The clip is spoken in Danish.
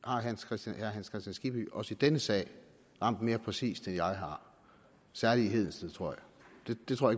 herre hans kristian skibby også i denne sag ramt mere præcist end jeg har særlig i hedensted tror jeg det tror